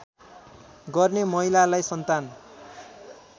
गर्ने महिलालाई सन्तान